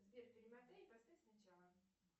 сбер перемотай и поставь сначала